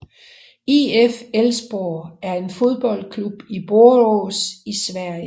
IF Elfsborg er en fodboldklub i Borås i Sverige